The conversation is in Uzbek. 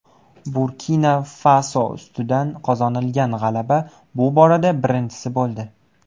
Burkina-Faso ustidan qozonilgan g‘alaba bu borada birinchisi bo‘ldi.